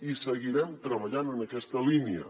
i seguirem treballant en aquesta línia